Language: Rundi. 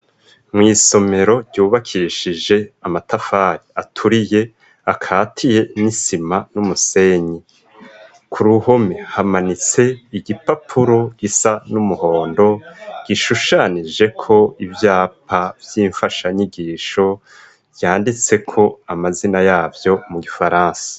Mw'isomero ryubakishije amatafari aturiye akatiye n'isima n'umusenyi, ku ruhome hamanitse igipapuro gisa n'umuhondo gishushanijeko ivyapa vy'imfashanyigisho yanditseko amazina yavyo mu gifaransa.